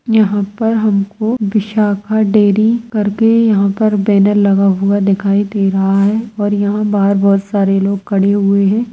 यहां पर हमको विशाखा डेयरी करके यहां पर बेनर लगा हुआ दिखाई दे रहा है और यहां बाहर बहुत सारे लोग खड़े हुए है।